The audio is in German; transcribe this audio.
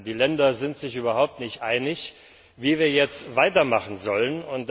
Die Länder sind sich überhaupt nicht einig, wie wir jetzt weitermachen sollen.